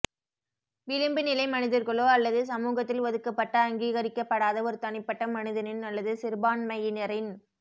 விளிம்பு நிலை மனிதர்களோ அல்லது சமூகத்தில் ஒதுக்கப்பட்ட அங்கீகரிக்கப்படாத ஒரு தனிப்பட்ட மனிதனின் அல்லது சிறுபான்மையினரின்